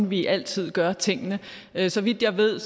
vi altid gør tingene så vidt jeg ved